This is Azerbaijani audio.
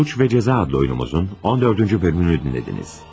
"Cinayət və cəza" adlı oyunumuzun 14-cü bölümünü dinlədiniz.